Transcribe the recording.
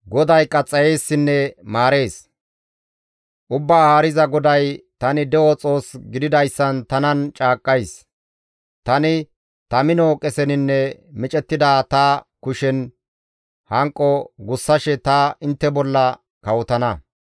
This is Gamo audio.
«Ubbaa Haariza GODAY, ‹Tani de7o Xoos gididayssan tanan caaqqays› Tani ta mino qeseninne micettida ta kushen hanqo gussashe ta intte bolla kawotana.